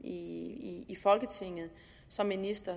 i folketinget som minister